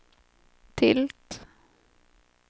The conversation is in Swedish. tilt